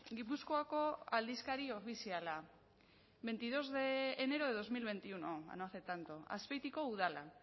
gipuzkoako aldizkari ofiziala veintidos de enero de dos mil veintiuno no hace tanto azpeitiko udala